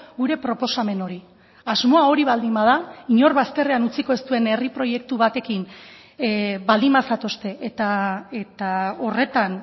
gure proposamen hori asmoa hori baldin bada inor bazterrean utziko ez duen herri proiektu batekin baldin bazatozte eta horretan